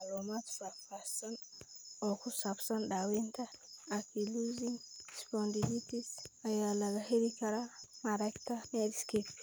Macluumaad faahfaahsan oo ku saabsan daawaynta ankylosing spondylitis ayaa laga heli karaa mareegta Medscape.